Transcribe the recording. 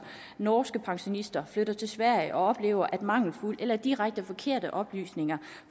norske pensionister flytter til sverige og oplever at mangelfulde eller direkte forkerte oplysninger